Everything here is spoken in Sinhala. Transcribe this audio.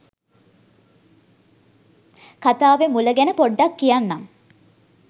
කතාවෙ මුල ගැන පොඩ්ඩක් කියන්නම්.